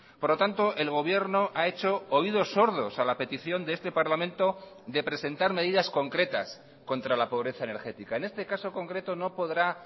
por lo tanto el gobierno ha hecho oídos sordos a la petición de este parlamento de presentar medidas concretas contra la pobreza energética en este caso concreto no podrá